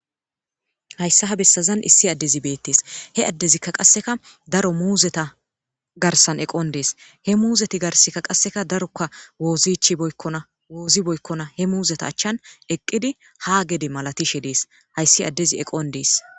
hayssa ha bessazan issi addezi beettees he addezikka qasseka daro muuzeta garsan eqon dees he muuzeti garsikka qasseka daroka wozi ichchi beykona woozi beykkona he muuzeta achchan eqqidi ha gede malatishe dees hayssi addezi eqon dees